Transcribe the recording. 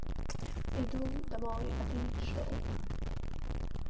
иду домой а ты что